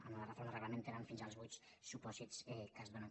en la reforma del reglament tenen fins als vuit supòsits que es donen